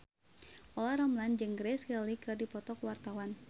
Olla Ramlan jeung Grace Kelly keur dipoto ku wartawan